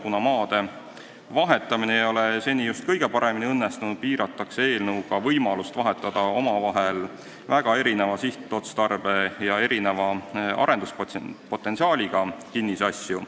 Kuna maadevahetus ei ole seni just kõige paremini õnnestunud, piiratakse eelnõuga võimalust vahetada omavahel väga erineva sihtotstarbe ja erineva arengupotentsiaaliga kinnisasju.